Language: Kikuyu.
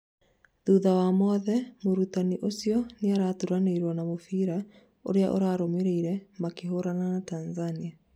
thutha wa mothe, mũrũtani ũcio nĩaratũranĩirwo na mũbira ũria ũrarũmĩrĩire makihũrana na Tanzania